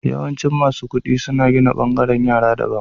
Yawanci, masu kudi suna gina bangaren yara daban.